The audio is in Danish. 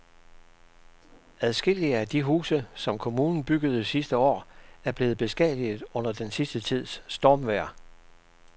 Adskillige af de huse, som kommunen byggede sidste år, er blevet beskadiget under den sidste tids stormvejr.